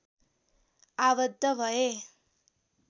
आबद्ध भए